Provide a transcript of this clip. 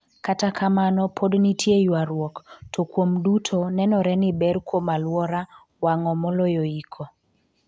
kata kamano pod nitie ywaruok, to kuom duto nenore ni ber kuom alwora wang'o moloyo iko